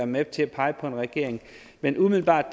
med til at pege på en regering men umiddelbart